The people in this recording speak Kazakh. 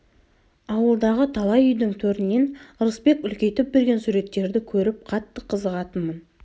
ауылдағы талай үйдің төрінен ырысбек үлкейтіп берген суреттерді көріп қатты қызығатынмын